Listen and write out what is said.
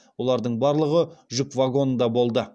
олардың барлығы жүк вагонында болды